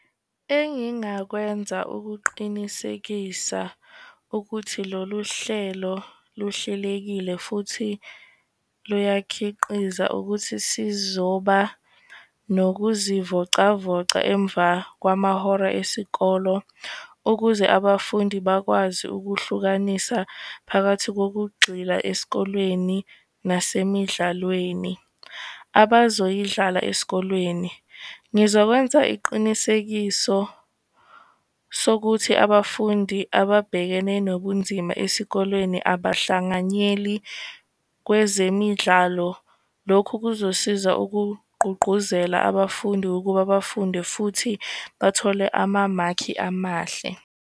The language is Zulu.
Engingakwenza ukuqinisekisa ukuthi lolu hlelo luhlelekile, futhi luyakhiqiza ukuthi sizoba nokuzivocavoca emva kwamahora esikolo, ukuze abafundi bakwazi ukuhlukanisa phakathi ngokugxila esikolweni, nasemidlalweni abazoyidlala esikolweni. Ngizokwenza iqinisekiso sokuthi abafundi ababhekene nobunzima esikolweni abahlanganyeli kwezemidlalo. Lokhu kuzosiza ukugqugquzela abafundi ukuba bafunde futhi bathole amamakhi amahle.